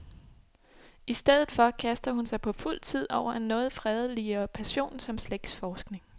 I stedet for kaster hun sig på fuld tid over en noget fredeligere passion som slægtsforskning.